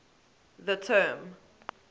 the term